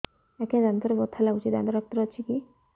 ଆଜ୍ଞା ଦାନ୍ତରେ ବଥା ଲାଗୁଚି ଦାନ୍ତ ଡାକ୍ତର ଅଛି କି